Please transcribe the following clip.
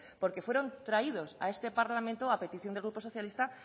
porque fueron traídos a este parlamento a petición del grupo socialista